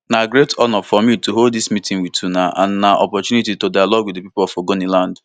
na great honour for me to hold dis meeting wit una and na opportunity to dialogue wit di pipo of ogoniland